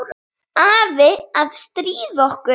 Afi að stríða okkur.